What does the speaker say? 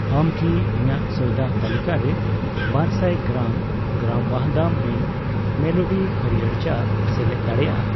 ᱟᱢ ᱠᱤ ᱤᱧᱟᱹᱜ ᱥᱚᱭᱫᱟ ᱛᱟᱹᱞᱤᱠᱟᱨᱮ ᱵᱟᱨᱥᱟᱭ ᱜᱨᱟᱢ ,ᱜᱨᱟᱢ ᱣᱟᱦᱫᱟᱢ ᱢᱤᱱᱴ ᱢᱮᱞᱳᱰᱤ ᱦᱟᱲᱭᱟᱹᱨ ᱪᱟ ᱥᱮᱞᱮᱫ ᱫᱟᱲᱮᱭᱟᱜᱼᱟ ?